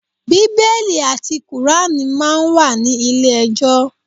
Bíbélì àti kùránì máa ń wà ní ilé ẹjọ́.